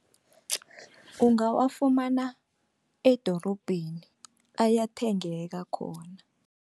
Ungawafumana edorobheni ayathengeka khona.